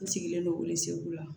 N sigilen don welesebugu la